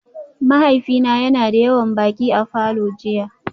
Mahaifina yana da yawan baƙi a falor jiya